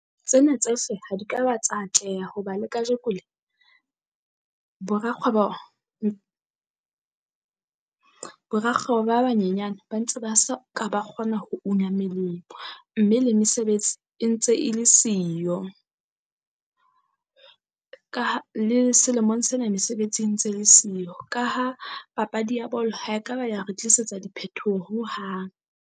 Tsena tsohle ha di ka ba tsa atleha hoba le kajeko le bo rakgwebo. Bo rakgwebo ba banyenyane ba ntse ba sa ka ba kgona ho una melemo. Mme le mesebetsi e ntse e le siyo, ka ha le selemong sena mesebetsi e ntse le siyo ka ha papadi ya bolo ha ekaba ya re tlisetsa diphethoho hohang.